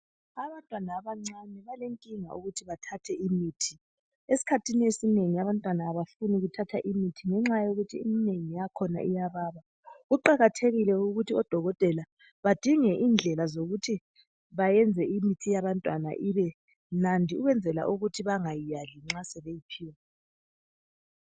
Abantwana abancane balenkinga ukuthi bathathe imithi esikhathini esinengi abantwana abafuni kuthatha imithi ngenxa yokuthi eminengi yakhona iyababa. kuqakathekile ukuthi odokotela badinge indlela zokuthi bayenze imithi yabantwana ibe mnandi ukwenzela ukuthi bangayali nxa sebeyiphiwa.